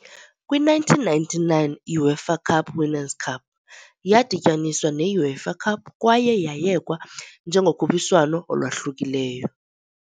Kwi-1999, i-UEFA Cup Winners' Cup yadityaniswa ne-UEFA Cup kwaye yayekwa njengokhuphiswano olwahlukileyo.